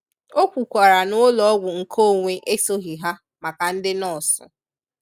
O kwukwara n'ụlọọgwụ nke onwe esoghị ha maka ndị nọọsụ.